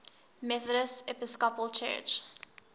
methodist episcopal church